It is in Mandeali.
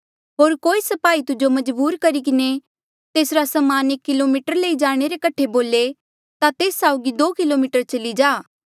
होर कोई स्पाही तुजो मजबूर करी किन्हें तेसरा समान एक किलोमीटर लई जाणे रे कठे बोले ता तेस साउगी दो किलोमीटर चली जा